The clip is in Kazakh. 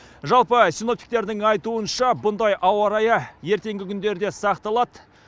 жалпы синоптиктердің айтуынша бұндай ауа райы ертеңгі күндері де сақталады